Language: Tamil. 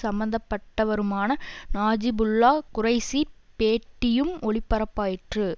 சம்மந்தப்பட்டவருமான நஜிபுல்லா குரைஷிப் பேட்டியும் ஒளிபரப்பாயிற்று